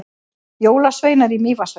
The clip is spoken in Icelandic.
Jólasveinar í Mývatnssveit